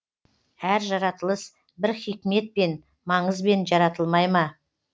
әр жаратылыс бір хикметпен маңызбен жаратылмай ма